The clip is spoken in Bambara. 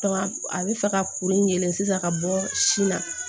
a bɛ fɛ ka kuru in sisan ka bɔ sin na